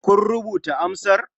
Kun rubuta amsar?